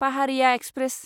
Paharia express